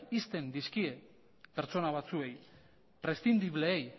ixten dizkie pertsona batzuei preszindibleei